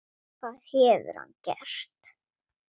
Hvað hefur hann gert?